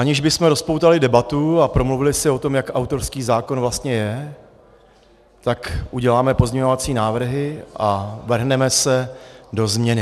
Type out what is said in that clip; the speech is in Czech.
Aniž bychom rozpoutali debatu a promluvili si o tom, jak autorský zákon vlastně je, tak uděláme pozměňovací návrhy a vrhneme se do změny.